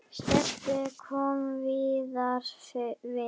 Stebbi kom víðar við.